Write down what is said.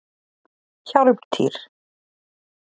Hjálmtýr